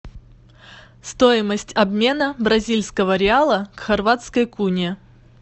стоимость обмена бразильского реала к хорватской куне